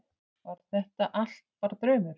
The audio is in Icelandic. Var þetta allt bara draumur?